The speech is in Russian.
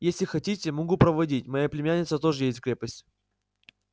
если хотите могу проводить моя племянница тоже едет в крепость